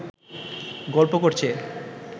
গল্প করছে